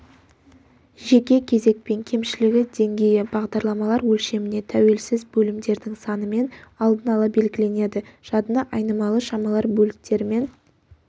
жеке кезекпен кемшілігі деңгейі бағдарламалар өлшеміне тәуелсіз бөлімдердің санымен алдын-ала белгіленеді жадыны айнымалы шамалар бөліктерімен